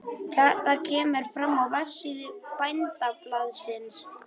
Þetta kemur fram á vefsíðu Bændablaðsins